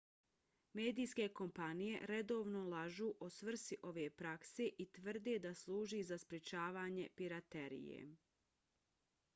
medijske kompanije redovno lažu o svrsi ove prakse i tvrde da služi za sprečavanje piraterije